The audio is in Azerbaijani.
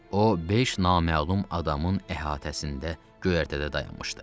O, beş naməlum adamın əhatəsində göyərtədə dayanmışdı.